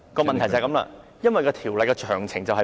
問題正正就是《條例草案》詳情欠奉。